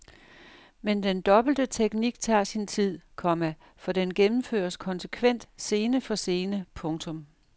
Men den dobbelte teknik tager sin tid, komma for den gennemføres konsekvent scene for scene. punktum